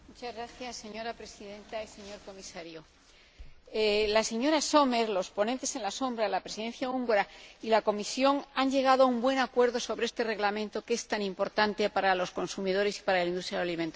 Señora Presidenta, señor Comisario, la señora Sommer, los ponentes en la sombra, la Presidencia húngara y la Comisión han llegado a un buen acuerdo sobre este Reglamento que es tan importante para los consumidores y para la industria alimentaria.